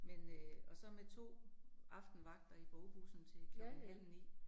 Men øh og så med 2 aftenvagter i bogbussen til klokken halv 9